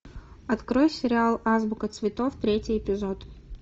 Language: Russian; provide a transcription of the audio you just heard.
открой сериал азбука цветов третий эпизод